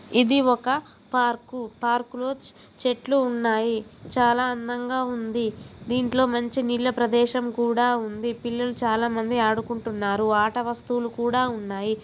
ఇది ఒక park park లో చె--చెట్లు ఉన్నాయి చాలా అందంగా ఉంద దీంట్లో మంచి నీళ్ల ప్రదేశం కూడా ఉంది పిల్లలు చాలా మంది ఆడుకుంటున్నారు ఆట వస్తువులు కూడా ఉన్నాయి.